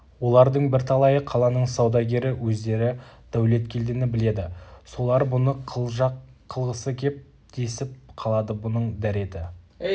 олардың бірталайы қаланың саудагері өздері дәулеткелдіні біледі солар бұны қылжақ қылғысы кеп десіп қалады бұның дәреті